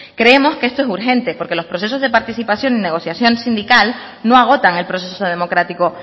creemos que esto es urgente porque los procesos de participación en negociación sindical no agotan el proceso democrático